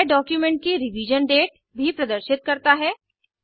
यह डॉक्यूमेंट की revision date भी प्रदर्शित करता है